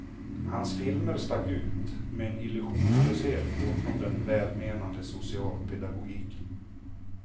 Hans filmer stack ut, med en illusionslöshet bortom den välmenande socialpedagogiken.